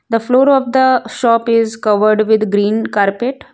The floor of the shop is covered with green carpet.